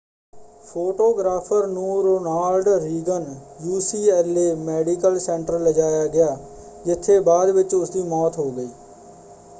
Photographer ਨੂੰ Ronald Reagan UCLA medical centre ਲਿਜਾਇਆ ਗਿਆ ਜਿੱਥੇ ਬਾਅਦ ਵਿੱਚ ਉਸਦੀ ਮੌਤ ਹੋ ਗਈ।